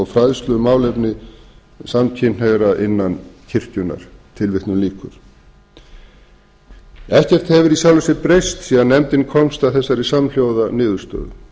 fræðslu um málefni samkynhneigðra innan kirkjunnar ekkert hefur í sjálfu sér breyst síðan nefndin komst að þessari samhljóða niðurstöðu